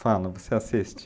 Fala, você assiste?